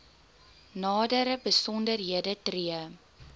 nadere besonderhede tree